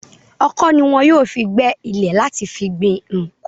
Ọ̀kọ̀ ni wọn yóò fi gbẹ́ ilẹ̀ láti fi gbin nǹkan.